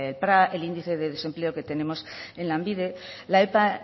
epa el índice de desempleo que tenemos en lanbide la epa